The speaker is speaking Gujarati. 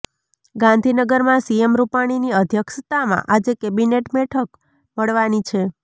ગાંધીનગરમાં સીએમ રૂપાણીની અધ્યક્ષતામાં આજે કેબિનેટ બેઠક મળવાની છે